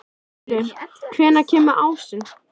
Það skipbrot er reyndar algengara en margur heldur.